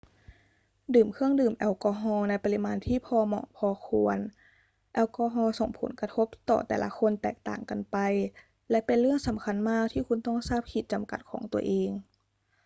ดื่มเครื่องดื่มแอลกอฮอล์ในปริมาณที่พอเหมาะพอควรแอลกอฮอล์ส่งผลกระทบต่อแต่ละคนแตกต่างกันไป และเป็นเรื่องสำคัญมากที่คุณต้องทราบขีดจำกัดของตัวเอง